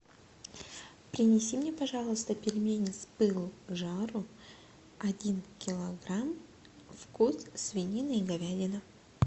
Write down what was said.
принеси мне пожалуйста пельмени с пылу с жару один килограмм вкус свинина и говядина